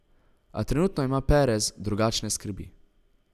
A trenutno ima Perez drugačne skrbi.